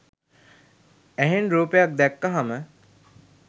ඇහෙන් රූපයක් දැක්කහම